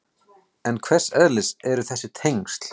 En hvers eðlis eru þessi tengsl?